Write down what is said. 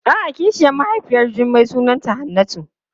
A'a kishiyar mahaifiyar Jummai sunanta Hannatu.